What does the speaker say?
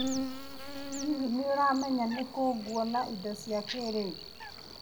Hihi, nĩ ũĩ nĩ kũ nguona indo cia kĩrĩu?